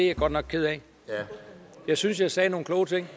jeg godt nok ked af jeg synes jeg sagde nogle kloge ting